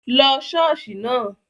Lọ ṣọ́ọ̀ṣì náà!